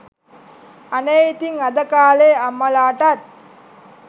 අනේ ඉතිං අද කාලෙ අම්මලාටත්